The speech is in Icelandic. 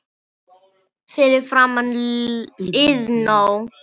Fyrir framan Iðnó.